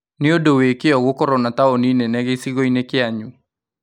Nĩ ũndũ wĩ kĩoo gũkorwo na taũni nene gĩcigo-inĩ kĩanyu